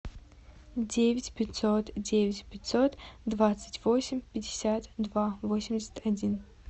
девять пятьсот девять пятьсот двадцать восемь пятьдесят два восемьдесят один